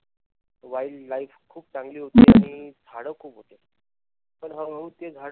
wield life खूप चांगली होती झाड खूप होती पण हळू हळू ते झाड